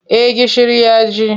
Eh gishiri ya ji.